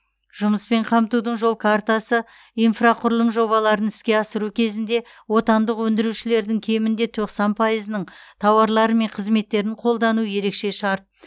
жұмыспен қамтудың жол картасы инфрақұрылым жобаларын іске асыру кезінде отандық өндірушілердің кемінде тоқсан пайызының тауарлары мен қызметтерін қолдану ерекше шарт